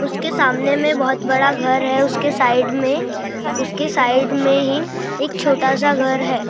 उसके सामने बहुत बड़ा घर हैउसके साइड में उसके साइड में ही एक छोटासा घर है।